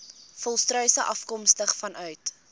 volstruise afkomstig vanuit